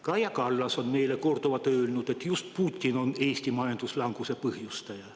Kaja Kallas on meile korduvalt öelnud, et just Putin on Eesti majanduslanguse põhjustaja.